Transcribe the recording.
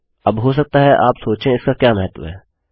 अब हो सकता है आप सोचें इसका क्या महत्व है160